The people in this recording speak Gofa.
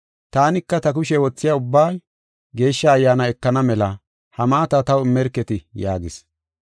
“Taanika ta kushe wothiya ubbay Geeshsha Ayyaana ekana mela ha maata taw immerketi” yaagis.